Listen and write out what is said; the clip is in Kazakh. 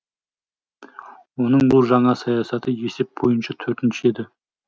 оның бұл жаңа саясаты есеп бойынша төртінші еді